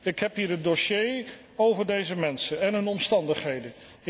Ik heb hier het dossier over deze mensen en hun omstandigheden.